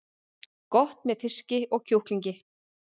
Gott með fiski og kjúklingi